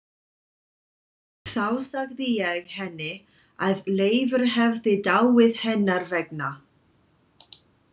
Þá sagði ég henni að Leifur hefði dáið hennar vegna.